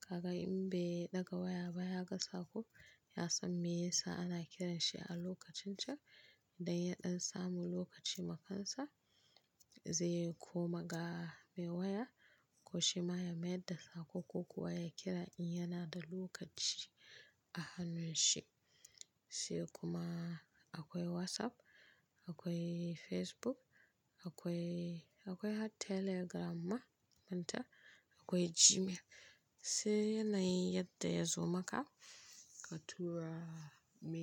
Kaga in bai ɗaga waya ba ya ga sako ya san me ya sa ana kiranshi a lokacin can. Da ya ɗan samu lokaci ma kansa ze kuma ga me waya ko shi ma ya maida sako ko kuwa ya kira in yana da lokaci a hannun shi. Sai kuma akwai WhatsApp, akwai Facebook, akwai, akwai har telegram ma manta, akwai Gmail. Sai yanayin yadda ya zo maka ka tura me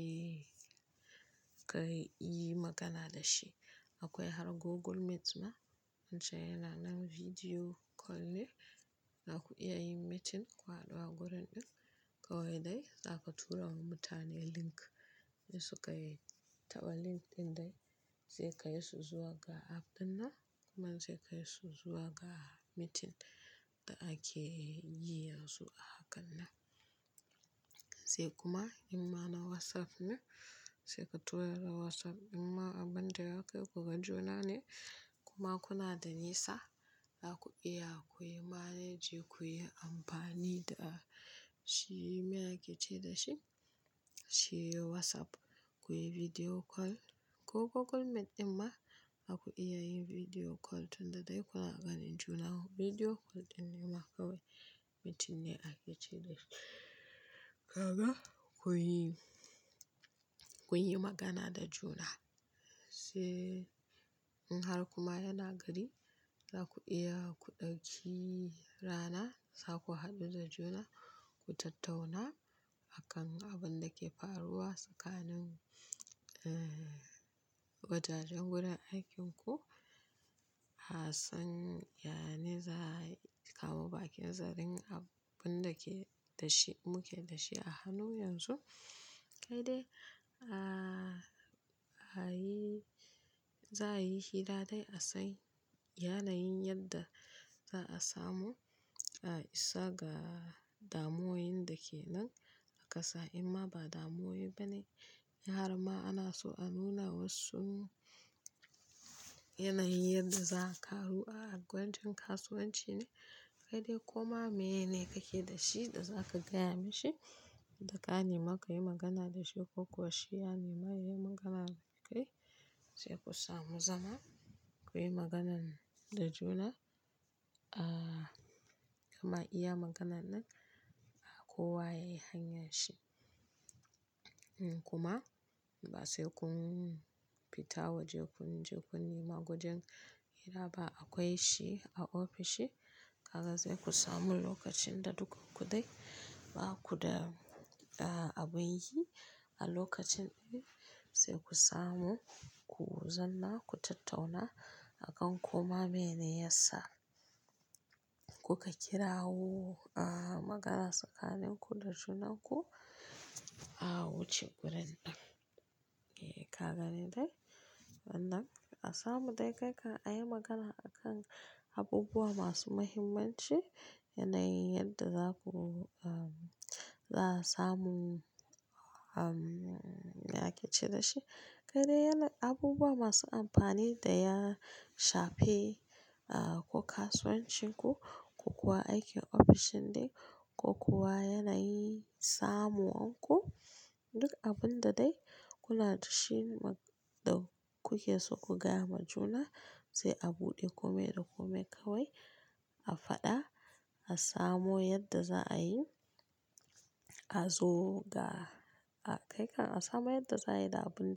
ka yi magana da shi. Akwai har Google Meet ma wancan yana nan video call ne. Zaku iya yin meeting ku hudu a gurin ɗin kawai dai za ka tura wa mutane link in su ka yi taɓa link ɗin dai zai kai su zuwa ga app ɗin nan kuma zai kai su zuwa ga meeting da ake yi yanzu a hakan nan. Sai kuma in ma na WhatsApp ne sai ka tura da WhatsApp in ma abin da ya kai ku gan juna ne kuma kuna da nisa za ku iya ku yi managi ku yi amfani da shi me ake ce da shi shi WhatsApp ku yi video call ko Google Meet in ma za ku iya yin video call tun da dai kuna ganin juna video call ɗin ne ma kawai meeting ne ake ce da shi. Kaga kun yi, kun yi magana da juna sai in har kuma yana gari za ku iya ku ɗauki rana za ku haɗu da juna ku tattauna akan abin da ke faruwa tsakanin, eh, wajajen wurin aikinku. A san, ya ne za a kawo bakin zarin abin da ke da shi muke da shi a hannu yanzu. Kai dai, a, ba yi, za a yi hira dai a san. Yanayin yadda za a samu, a isa ga damoyin da ke nan a ƙasa in ma ba damoyi ba ne har ma ana so a nuna wassun yanayin yadda za a karu a gwajin kasuwanci ne. Kai dai koma mene kake da shi da za ka gaya mishi da ƙa nema ka yi magana da shi ko kuwa shi ya nema ya yi magana da kai. Sai ku samu zama ku yi maganan da juna, a, kama iya maganan nan a kowa ya yi hanyan shi. Kuma ba sai kun fita waje kun je kun nema wajen hira ba akwai shi a ofishi. Kaga zai ku samu lokacin da dukan ku dai baku da, a, abun yi a lokacin ɗi sai ku samu ku zamna ku tattauna akan koma mene ya sa kuka kirawo a magana tsakanin ku da junanku a wuce wurin ɗin. E, ka gane dai? Nan a samu dai kai kan a yi magana a kan abubuwa masu muhimmanci yanayin yadda zaku, a, za a samu, a, me ake ce da shi? Kai dai abubuwa masu amfani da ya shafe, a, ko kasuwancin ku ko kuwa aikin ofishin din ko kuwa yanayin samuwanku. Duk abun da dai kuna da shi da kuke so ku gaya ma juna sai a buɗe kome da kome kawai a faɗa a samo yadda za a yi a zo ga a kai kan a samu yadda za a yi da abun.